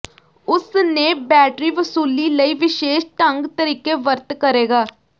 ਉਸ ਨੇ ਬੈਟਰੀ ਵਸੂਲੀ ਲਈ ਵਿਸ਼ੇਸ਼ ਢੰਗ ਤਰੀਕੇ ਵਰਤ ਕਰੇਗਾ